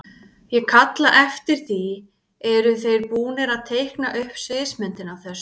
Ég kalla eftir því, eru þeir búnir að teikna upp sviðsmyndina af þessu?